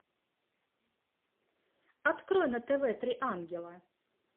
открой на тв три ангела